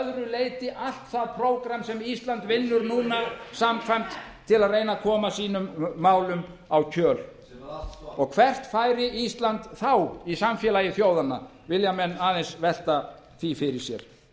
leyti allt það prógramm sem ísland vinnur núna samkvæmt til að koma sínum málum á kjöl og hvert færi ísland þá í samfélagi þjóðanna vilja menn aðeins velta því fyrir sér